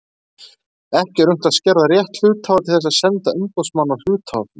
Ekki er unnt að skerða rétt hluthafa til þess að senda umboðsmann á hluthafafund.